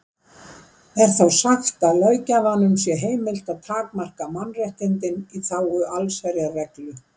Er þá sagt að löggjafanum sé heimilt að takmarka mannréttindin í þágu allsherjarreglu.